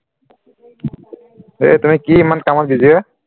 এ তুমি কি ইমান কামোৰ দিছে হে